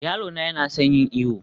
yaro na yana son yin iyo